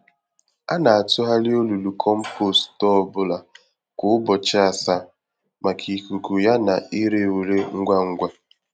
A na-atụgharị olulu kompost ọ bụla kwa ụbọchị asaa, maka ikuku ya na ire ure ngwa ngwa.